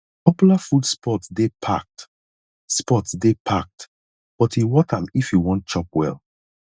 popular food spots dey packed spots dey packed but e worth am if you wan chop well